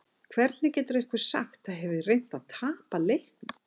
Hvernig getur einhver sagt að ég hafi reynt að tapa leiknum?